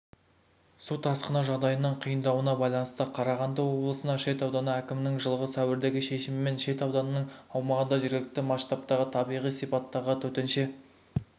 су тасқыны жағдайының қиындауына байланысты қарағанды облысының шет ауданы әкімінің жылғы сәуірдегі шешімімен шет ауданының аумағында жергілікті масштабтағы табиғи сипаттағы төтенше